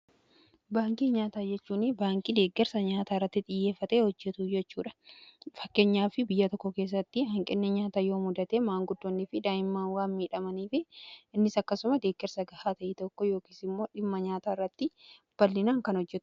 Baankii nyaata jechuun baankii deeggarsa nyaataa irratti xiyyeeffate hojjetu jechuudha. Fakkeenyaaf biyya tokko keessatti hanqinni nyaata yoo mudate maanguddoonni fi daa'immaan waan miidhamaniif innis akkasuma deeggersa gahaa ta'e tokko yookiin immoo dhimma nyaataa irratti bal'inaan kan hojjetu.